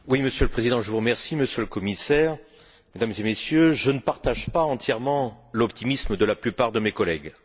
Monsieur le Président, Monsieur le Commissaire, Mesdames et Messieurs, je ne partage pas entièrement l'optimisme de la plupart de mes collègues.